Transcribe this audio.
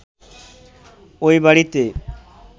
ওই বাড়িতে